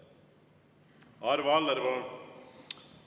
Arvo Aller, palun!